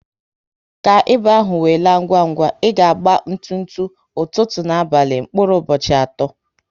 Ka ịba ahụ we laa ngwa ngwa, ị ga agba ntutu, ụtụtụ ná abalị mkpụrụ ụbọchị atọ